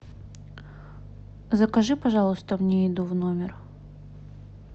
закажи пожалуйста мне еду в номер